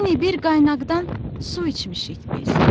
Yəni bir qaynaqdan su içmişik biz.